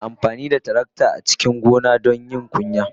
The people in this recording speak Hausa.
Ana amfani da tarakta a cikin gona don yin kunya.